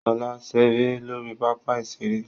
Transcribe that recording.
Ṣọlá ń ṣeré lórí pápá ìṣeré